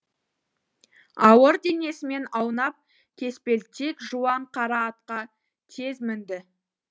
ауыр денесімен аунап кеспелтек жуан қара атқа тез мінді